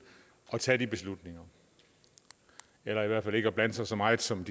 at tage de beslutninger eller i hvert fald ikke at blande sig så meget som